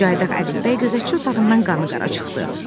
Cayaq Ədilbəy gözətçi otağından qanıqara çıxdı.